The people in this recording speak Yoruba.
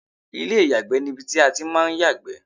ilé ìyàgbẹ́ ni ibi tí a ti ń máà ń yàgbẹ́